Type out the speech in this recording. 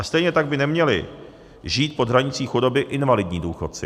A stejně tak by neměli žít pod hranicí chudoby invalidní důchodci.